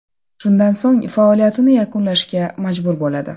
Shundan so‘ng faoliyatini yakunlashga majbur bo‘ladi.